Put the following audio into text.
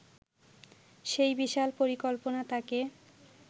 সেই বিশাল পরিকল্পনা তাঁকে